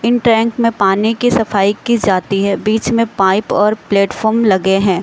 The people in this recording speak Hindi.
इन टैंक में पानी की सफाई किस जाती है बीच में पाइप और प्लेटफार्म लगे हैं।